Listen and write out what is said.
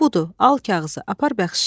Budur, al kağızı, apar.